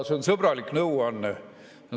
See on sõbralik nõuanne.